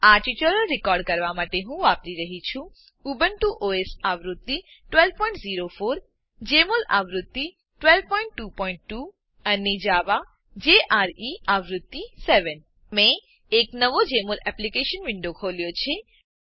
આ tutorial record કરવા માટે હું વાપરી રહ્યી છું ઉબુન્ટુ ઓએસ આવૃત્તિ 1204 જમોલ આવૃત્તિ 1222 અને જાવા આવૃત્તિ 7 મેં એક નવો જેમોલ એપ્લીકેશન વિન્ડો ખોલ્યો છે